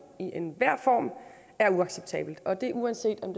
i enhver form er uacceptabelt og det uanset om